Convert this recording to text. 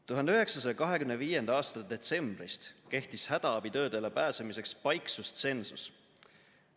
1925. aasta detsembrist kehtis hädaabitöödele pääsemiseks paiksustsensus.